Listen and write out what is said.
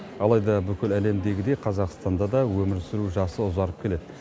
алайда бүкіл әлемдегідей қазақстанда да өмір сүру жасы ұзарып келеді